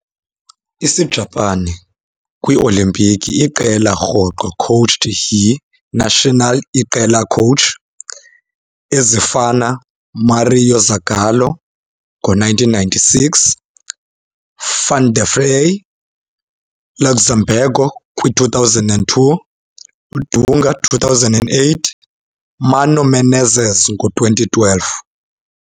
- Isijapani kwi-olimpiki, iqela rhoqo coached yi-national iqela coach, ezifana Mário Zagallo ngo-1996, Vanderlei Luxemburgo kwi-2000, Dunga 2008 Mano Menezes ngo-2012.